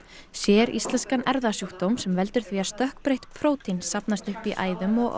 séríslenskan erfðasjúkdóm sem veldur því að stökkbreytt prótín safnast upp í æðum og